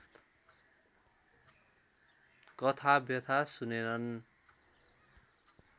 कथा व्यथा सुनेनन्